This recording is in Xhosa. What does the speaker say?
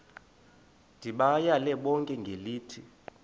ndibayale bonke ngelithi